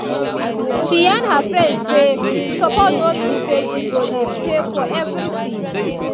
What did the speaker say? she yarn her friend say to support no mean say she go dey pay for everything